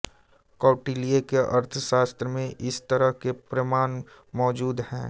कौटिल्य के अर्थशास्त्र में इस तरह के प्रमान मौजूद हैं